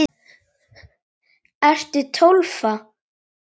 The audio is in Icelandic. Ertu Tólfa?